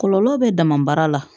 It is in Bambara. Kɔlɔlɔ bɛ damabaara la